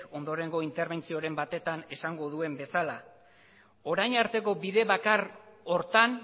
ondorengo interbentzioren batetan esango duen bezala orain arteko bide bakar horretan